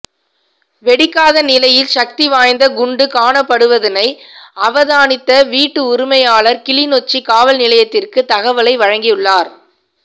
வெடிக்காத நிலையில் சக்தி வாய்ந்த குண்டு காணப்படுவதனை அவதானித்த வீட்டு உரிமையாளர் கிளிநொச்சி காவல் நிலையத்திற்கு தககவலை வழங்கியுள்ளார்